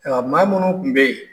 Ayiwa maa minnu tun be yen